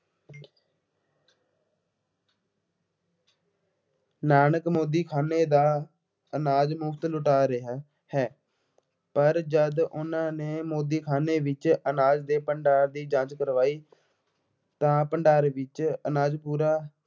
ਨਾਨਕ ਮੋਦੀਖਾਨੇ ਦਾ ਅਨਾਜ ਮੁਫਤ ਲੁਟਾ ਰਿਹਾ ਹੈ। ਪਰ ਜਦ ਉਹਨਾ ਨੇ ਮੋਦੀਖਾਨੇ ਵਿੱਚ ਅਨਾਜ ਦੇ ਭੰਡਾਰ ਦੀ ਜਾਂਚ ਕਰਵਾਈ ਤਾਂ ਭੰਡਾਰ ਵਿੱਚ ਅਨਾਜ ਪੂਰਾ